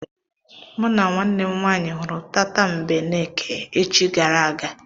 Mụ na nwanne m nwaanyị hụrụ tatambeneke echi gara aga.